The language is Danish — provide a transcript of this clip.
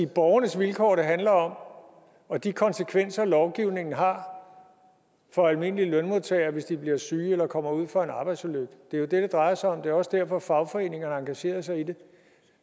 borgernes vilkår det handler om og de konsekvenser lovgivningen har for almindelige lønmodtagere hvis de bliver syge eller kommer ud for en arbejdsulykke det er jo det det drejer sig om og det er også derfor fagforeningerne har engageret sig i det